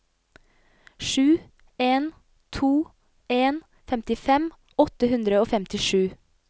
sju en to en femtifem åtte hundre og femtisju